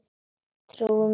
Trúir mér samt ekki.